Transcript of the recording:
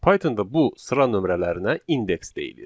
Pythonda bu sıra nömrələrinə indeks deyilir.